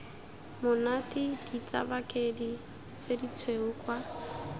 monate ditsabakedi tse ditshweu kwa